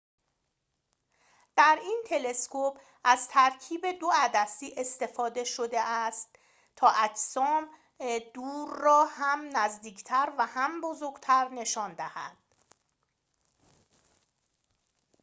در این تلسکوپ از ترکیب دو عدسی استفده شده است تا اجسام دور را هم نزدیکتر و هم بزرگتر نشان دهد